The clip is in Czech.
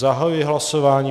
Zahajuji hlasování.